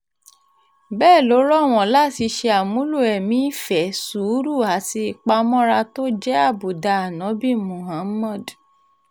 bẹ́ẹ̀ ló rọ̀ wọ́n láti ṣe àmúlò ẹ̀mí ìfẹ́ sùúrù àti ìpamọ́ra tó jẹ́ àbùdá àǹòbí muhammed